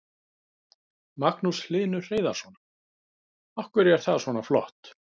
Magnús Hlynur Hreiðarsson: Af hverju er það svona flott?